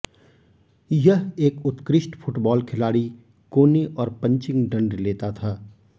यह एक उत्कृष्ट फुटबॉल खिलाड़ी कोने और पंचिंग दंड लेता था